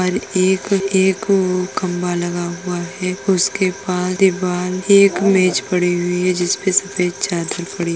और एक एक खम्बा लगा हुआ है। उसके पास दीवाल एक मेज पड़ी हुई है। जिस पे सफ़ेद चादर पड़ी --